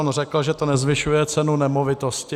On řekl, že to nezvyšuje cenu nemovitosti.